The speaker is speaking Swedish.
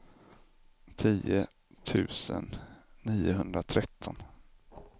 tio tusen niohundratretton